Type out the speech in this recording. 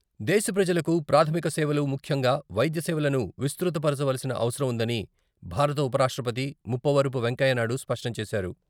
దేశప్రజలకు ప్రాధమికసేవలు ముఖ్యంగా వైద్యసేవలను విస్తృత పరచవలసిన అవసరం ఉందని భారత ఉపరాష్ట్రపతి ముప్పవరపు వెంకయ్యనాయుడు స్పష్టం చేశారు.